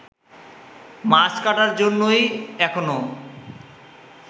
মাছ কাটার জন্যই এখনো